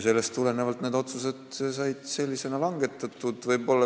Sellest tulenevalt need otsused said sellisena langetatud.